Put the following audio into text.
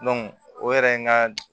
o yɛrɛ ye n ka